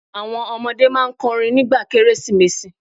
Àwọn ọmọdé máa n kọrin nígbà Kérésìmesì